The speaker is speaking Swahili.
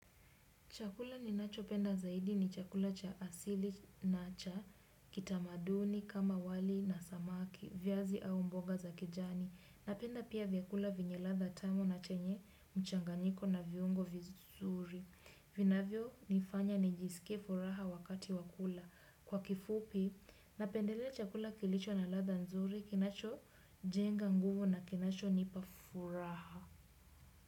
Chakula ninachopenda zaidi ni chakula cha asili na cha kitamaduni kama wali na samaki, viazi au mboga za kijani. Napenda pia vyakula vyenye ladha tamu na chenye mchanganyiko na viungo vizuri. Vinavyo nifanya nijisikie furaha wakati wa kula. Kwa kifupi, napendelea chakula kilicho na ladha nzuri, kinacho jenga nguvu na kinacho nipa furaha.